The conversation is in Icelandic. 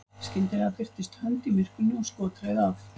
skyndilega birtist hönd í myrkrinu og skot reið af